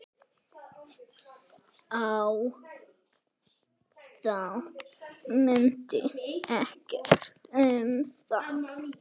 Þá munaði ekkert um það.